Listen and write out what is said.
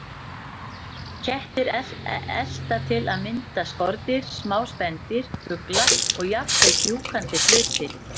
Kettir elta til að mynda skordýr, smá spendýr, fugla og jafnvel fjúkandi hluti.